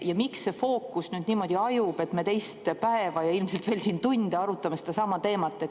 Ja miks see fookus niimoodi hajub, et me teist päeva ja ilmselt veel tunde arutame sedasama teemat?